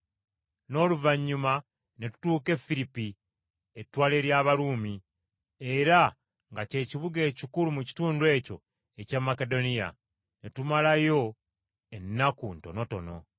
n’oluvannyuma ne tutuuka e Firipi, ettwale ly’Abaruumi, era nga ky’ekibuga ekikulu mu kitundu ekyo ekya Makedoniya. Ne tumalawo ennaku ntonotono.